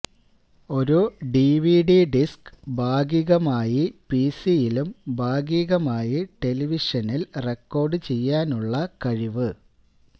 ഒരു DVD disc ഭാഗികമായി പിസിയിലും ഭാഗികമായി ടെലിവിഷനിൽ റെക്കോഡ് ചെയ്യാനുള്ള കഴിവ്